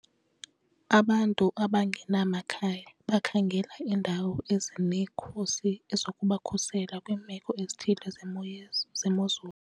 Abantu abangenamakhaya bakhangela iindawo ezinekhusi zokubakhusela kwiimeko ezithile zemo ye zemozulu.